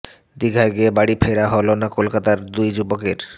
দিঘায় গিয়ে বাড়ি ফেরা হল না কলকাতায় দুই যুবকের